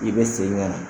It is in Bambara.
I bɛ segin ka na